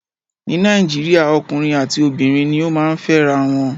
Ní Nàìjíríà ọkùnrin àti obìnrin ni ó máa ń fẹ́ra wọn.